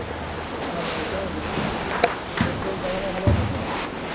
ভালো আছি। আর বলিসনা। তো তর বাবা মা ভালো আছে তো?